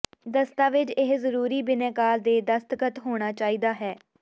ਦਸਤਾਵੇਜ਼ ਇਹ ਜ਼ਰੂਰੀ ਬਿਨੈਕਾਰ ਦੇ ਦਸਤਖਤ ਹੋਣਾ ਚਾਹੀਦਾ ਹੈ